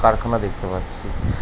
কারখানা দেখতে পাচ্ছি।